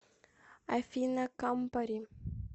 афина кампари